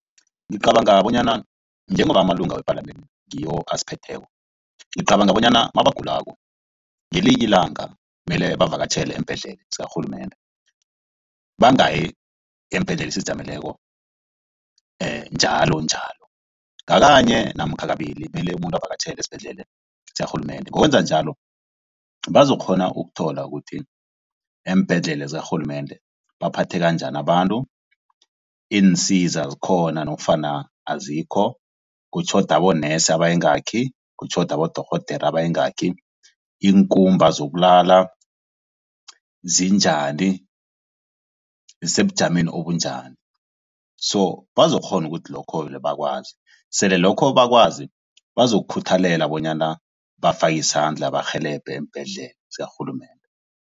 Ngicabanga bonyana njengoba amalunga wepalamende ngiwo asiphetheko. Ngicabanga bonyana mabagulako ngelinye ilanga mele bavakatjhele eembhedlela zakarhulumende bangayi eembhedlela ezizijameleko njalonjalo ngakanye namkha kabili mele umuntu avakatjhele esibhedlela zakarhulumende. Ngokwenza njalo bazokukghona ukuthola ukuthi eembhedlela zakarhulumende baphatheka njani abantu, iinsiza zikhona nofana azikho, kutjhoda abonesi abayingaki, kutjhoda abodorhodera abayingaki, iinkumba zokulala zinjani zisebujameni obunjani. So bazokukghona ukuthi lokho bakwazi sele lokho bakwazi bazokukhuthalela bonyana bafake isandla barhelebhe eembhedlela zakarhulumende.